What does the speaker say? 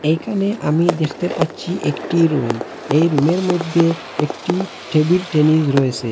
এখানে আমি দেখতে পাচ্ছি একটি রুম এই রুমের মইধ্যে একটি টেবিল টেনিস রয়েসে।